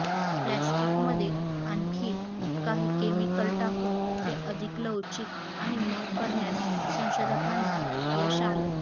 प्लॅस्टिकमध्ये आणखी काही केमिकल टाकून ते अधिक लवचिक आणि मऊ करण्यात संशोधकांना यश आलं